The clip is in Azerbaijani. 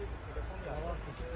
Telefon yandı.